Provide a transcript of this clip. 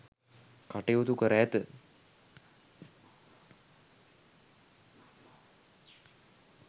කටයුතු කර ඇත.